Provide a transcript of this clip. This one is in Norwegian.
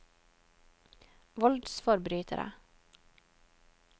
voldsforbrytere